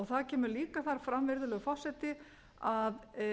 það kemur líka þar fram virðulegur forseti að